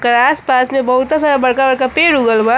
और आस पास में बहुतह सारा बड़का बड़का पेड़ उगल बा।